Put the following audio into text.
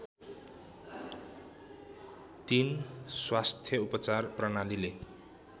३ स्वास्थ्य उपचार प्रणालीले